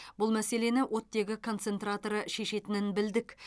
бұл мәселені оттегі концентраторы шешетінін білдік